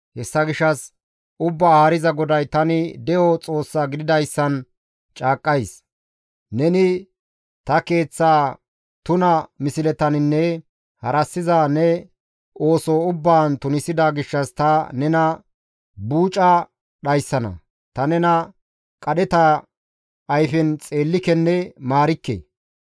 Hessa gishshas Ubbaa Haariza GODAY, tani De7o Xoossa gididayssan caaqqays: neni ta Keeththa tuna misletaninne harassiza ne ooso ubbaan tunisida gishshas ta nena buuca dhayssana; ta nena qadheta ayfen xeellikenne maarikke.